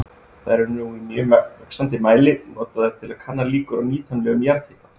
Þær eru nú í mjög vaxandi mæli notaðar til að kanna líkur á nýtanlegum jarðhita.